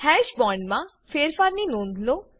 હાશ બોન્ડમા ફેરફારની નોંધ લો